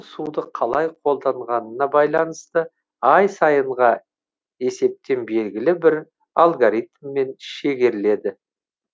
суды қалай қолданғанына байланысты ай сайынға есептен белгілі бір алгоритммен шегеріледі